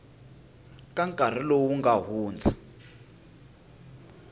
ka nkarhi lowu nga hundza